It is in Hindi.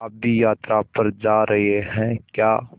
आप भी यात्रा पर जा रहे हैं क्या